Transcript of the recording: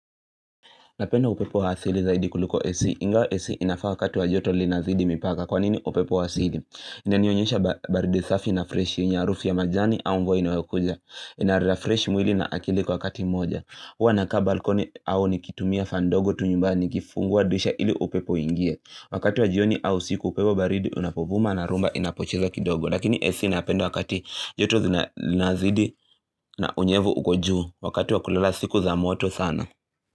Napenda upepo wa asili zaidi kuliko AC, ingawa AC inafaa wakati wa joto linazidi mipaka. Kwa nini upepo wa asili? Inanionyesha baridi safi na freshi yenye harufu ya majani au mvua inayokuja. Inarefresh mwili na akili kwa wakati moja. Huwa naka balkoni au nikitumia fan ndogo tu nyumbani nikifungua dirisha ili upepo uingie. Wakati wa jioni au usiku upepo baridi unapovuma na rhumba inapochiza kidogo. Lakini AC ninapenda wakati joto linazidi na unyevu uko juu wakati wa kulala siku za moto sana.